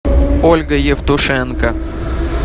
ольга евтушенко